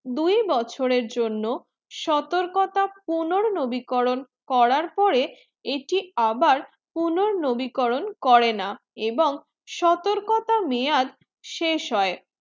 দুই বছরে জন্য সতৰ্কতটা পুনৰ নবীকরণ করার পরে এটি আবার পুনৰ নবীকরণ করে না এবং সতর্কতা মেযাজ শেষ হয়ে